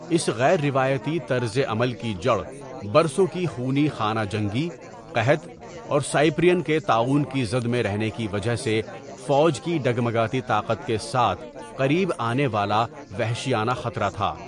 اس غیر روایتی طرز عمل کی جڑ برسوں کی خونی خانہ جنگی، قحط اور سائپرین کے طاعون کی زد میں رہنے کی وجہ سے فوج کی ڈگمگاتی طاقت کے ساتھ قریب آنے والا وحشیانہ خطرہ تھا.